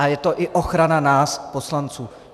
A je to i ochrana nás poslanců.